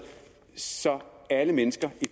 så alle mennesker